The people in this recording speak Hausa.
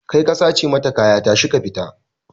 Kai ka sace mata kaya tashi ka fita!